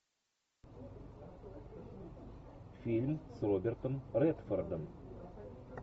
фильм с робертом редфордом